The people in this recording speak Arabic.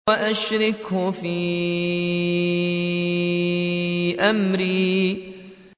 وَأَشْرِكْهُ فِي أَمْرِي